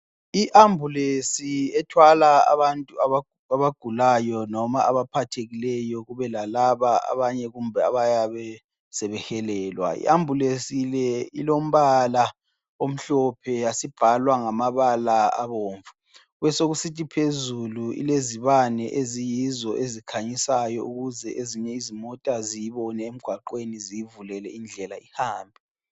I ambulesi ethwala abantu abagulayo noma abaphathekileyo kube lalaba kumbe abanye abayabe sebehelelwa. I ambulesi le ilombala omhlophe yasibhalwa ngamabala abomvu, besekusithi phezulu ilezibane eziyizo ezikhanyasayo ukuze ezinye izimota ziyibone emgwaqweni ziyivulele indlela ihambe.